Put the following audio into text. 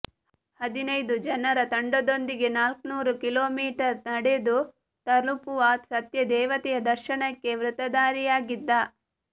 ಹದಿನೈದು ಜನರ ತಂಡದೊಂದಿಗೆ ನಾಲ್ನುರು ಕಿಲೋಮೀಟರ್ ನಡೆದು ತಲುಪುವ ಸತ್ಯದೇವತೆಯ ದರ್ಶನಕ್ಕೆ ವ್ರತಧಾರಿಯಾಗಿದ್ದ